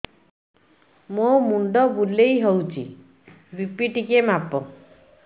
ମୋ ମୁଣ୍ଡ ବୁଲେଇ ହଉଚି ବି.ପି ଟିକେ ମାପ